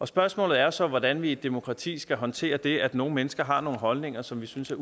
spørgsmålet er så hvordan vi i et demokrati skal håndtere det at nogle mennesker har nogle holdninger som vi synes er